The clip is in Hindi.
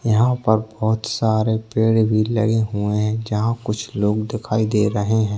यहाँ ऊपर बहुत सारे पेड़ भी लगे हुए है जहाँ कुछ लोग दिखाई दे रहे है।